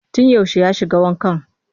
Tun yaushe ya shiga wankan?